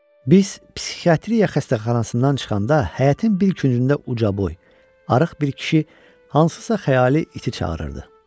Biz psixiatriya xəstəxanasından çıxanda həyətin bir küncündə ucaboy, arıq bir kişi hansısa xəyali iti çağırırdı.